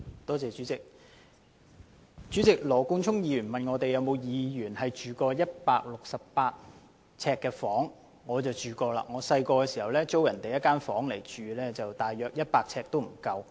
代理主席，羅冠聰議員問有否議員曾居於138平方呎的房屋，我想說我小時候曾租住一間不足100平方呎的房間。